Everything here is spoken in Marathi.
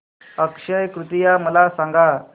अक्षय तृतीया मला सांगा